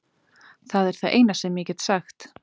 Það er það eina sem ég get sagt.